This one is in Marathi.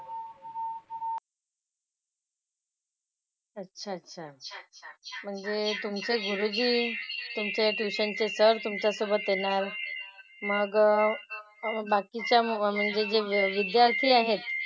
अच्छा अच्छा अच्छा अच्छा. म्हणजे तुमचे गुरुजी तुमचे ट्युशन चे सर तुमच्यासोबत येणार. मग बाकीच्या म्हणजे जे विद्यार्थी आहेत,